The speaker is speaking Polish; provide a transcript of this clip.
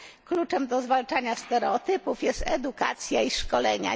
Kluczem do zwalczania stereotypów jest edukacja i szkolenia.